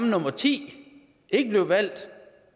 nummer ti ikke blev valgt